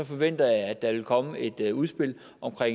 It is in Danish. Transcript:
forventer jeg at der vil komme et et udspil om